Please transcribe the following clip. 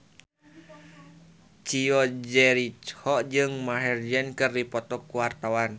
Chico Jericho jeung Maher Zein keur dipoto ku wartawan